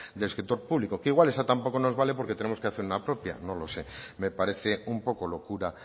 del sector público que igual esa tampoco nos vale porque tenemos que hacer una propia no lo sé me parece un poco locura